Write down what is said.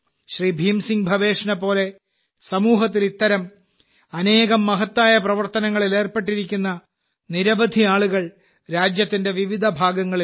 ഭീം സിംഗ് ഭവേഷിനെ പോലെ സമൂഹത്തിൽ ഇത്തരം അനേകം മഹത്തായ പ്രവർത്തനങ്ങളിൽ ഏർപ്പെട്ടിരിക്കുന്ന നിരവധി ആളുകൾ രാജ്യത്തിന്റെ വിവിധ ഭാഗങ്ങളിലുണ്ട്